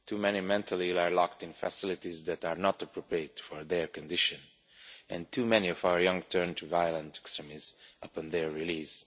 Too many mentally ill people are locked in facilities that are not appropriate for their condition and too many of our young turn to violent extremism upon their release.